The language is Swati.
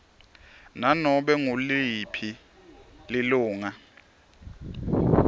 nanobe nguliphi lilunga